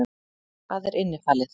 Hvað er innifalið?